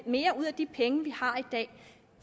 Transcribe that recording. mere ud af de penge vi har i dag